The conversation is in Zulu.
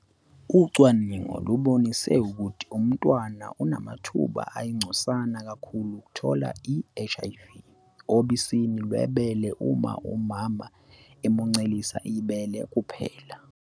Ucwaningo lubonise ukuthi umntwana unamathuba ayingcosana kakhulu okuthola i-HIV obisini lwebele uma umama emuncelisa ibele kuphela.